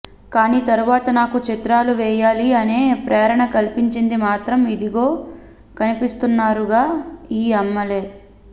కానీ తరువాత నాకు చిత్రాలు వేయాలి అనే ప్రేరణ కల్పించింది మాత్రం ఇదిగో కనిపిస్తున్నారు గా ఈ అమ్మలే